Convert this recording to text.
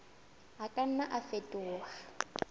a ka nna a fetoha